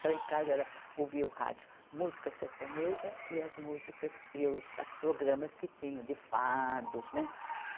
Então, em casa era ouvia o rádio, música sertaneja e as músicas e os as programas que tinham de fados, né?